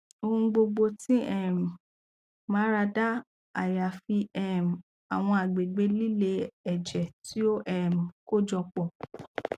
ohun gbogbo ti um marada ayafi um awọn agbegbe lile ẹjẹ ti o um kojọpọ